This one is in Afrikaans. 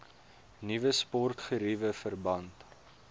nuwe sportgeriewe verband